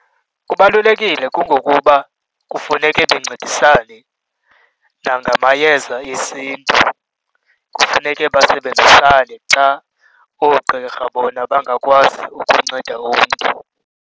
Kubalulekile kungokuba kufuneke bancedisane nangamayeza esiNtu, kufuneke basebenzisane xa oogqirha bona bangakwazi ukunceda umntu.